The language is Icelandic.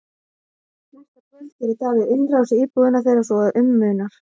Næsta kvöld gerir Davíð innrás í íbúðina þeirra svo að um munar.